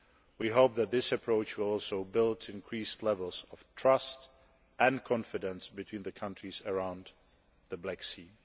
We hope that this approach will also build increased levels of trust and confidence between the countries around the Black Sea.